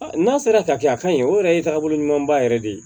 N'a sera ka kɛ a ka ɲi o yɛrɛ ye taabolo ɲuman ba yɛrɛ de ye